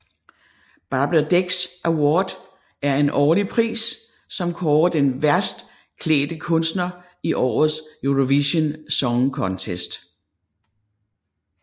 Barbara Dex Award er en årlig pris som kårer den værste klædt kunstner i årets Eurovision Song Contest